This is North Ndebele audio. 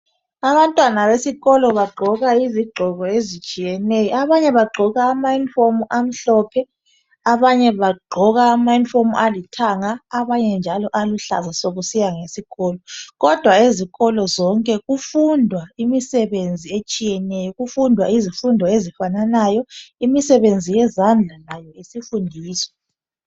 Abantwana besikolo bagqoka izigqoko ezitshiyeneyo. Abanye bagqoka amayunifomu amhlophe, abanye alithanga kanye laluhlaza kusiya ngesikolo. Ezikolo zonke kufundwa izifundo ezifananayo kanye lemisebenzi yezandla etshiyeneyo.